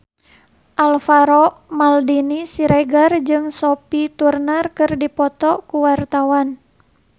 Alvaro Maldini Siregar jeung Sophie Turner keur dipoto ku wartawan